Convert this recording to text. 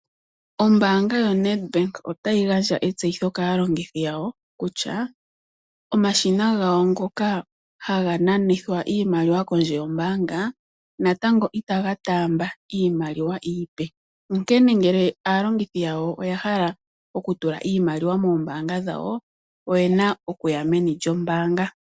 Ombaanga yoNedbank otayi gandja etseyitho kaalongithi yawo kutya omashina gawo ngoka haga nanithwa iimaliwa kondje yombaanga natango itaga taamba iimaliwa iipe, onkene ngele aalongithi yawo oya hala oku tula iimaliwa mombaanga dhawo oyena okuya meni lyombaanga.